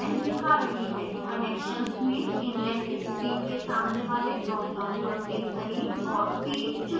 connections में inlet stream के सामने वाले dropdown पर click करें